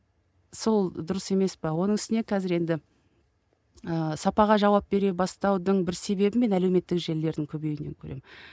сол дұрыс емес пе оның үстіне қазір енді ыыы сапаға жауап бере бастаудың бір себебін мен әлеуметтік желілердің көбеюінен көремін